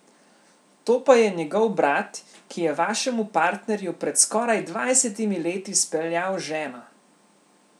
To pa je njegov brat, ki je vašemu partnerju pred skoraj dvajsetimi leti speljal ženo.